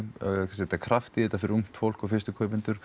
setja kraft í þetta fyrir ungt fólk og fyrstu kaupendur